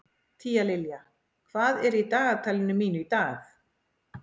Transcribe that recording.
Tíalilja, hvað er í dagatalinu mínu í dag?